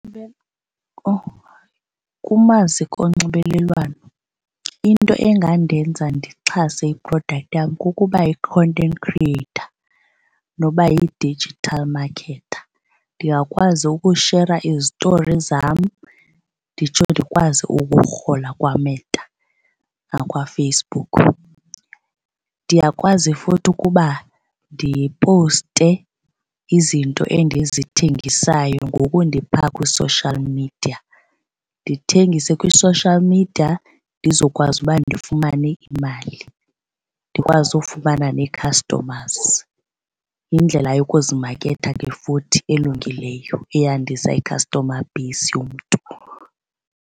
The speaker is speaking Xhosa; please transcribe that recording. Kumaziko onxibelelwano into engandenza ndixhase i-product yam kukuba yi-content creator noba yi-digital marketer. Ndingakwazi ukushera izitori zam nditsho ndikwazi ukurhola kwaMeta nakwaFacebook. Ndiyakwazi futhi ukuba ndiposte izinto endizithengisayo ngoku ndiphaa kwi-social media, ndithengise kwi-social media ndizokwazi uba ndifumane imali ndikwazi ufumana nee-customers. Yindlela yokuzimaketha ke futhi elungileyo eyandisa i-customer base yomntu.